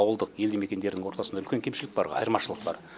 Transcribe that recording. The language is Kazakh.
ауылдық елді мекендердің ортасында үлкен кемшілік бар ғой айырмашылық бар